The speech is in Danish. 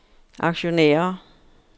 aktionærer